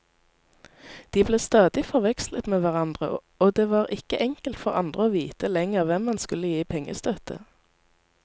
De ble stadig forvekslet med hverandre, og det var ikke enkelt for andre å vite lenger hvem man skulle gi pengestøtte.